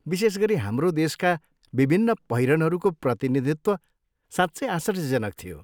विशेष गरी, हाम्रो देशका विभिन्न पहिरनहरूको प्रतिनिधित्व साँच्चै आश्चर्यजनक थियो।